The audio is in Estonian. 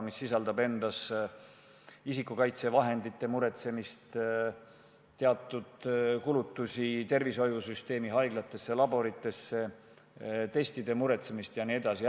See sisaldab isikukaitsevahendite hankimist, teatud kulutusi tervishoiusüsteemis, haiglates ja laborites, testide muretsemist jne.